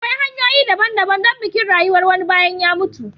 Akwai hanyoyi daban-daban don bikin rayuwar wani bayan ya mutu.